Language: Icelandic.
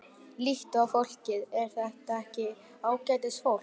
Líttu á fólkið, er þetta ekki ágætisfólk?